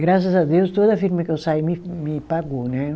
Graças a Deus, toda a firma que eu saí me me pagou, né?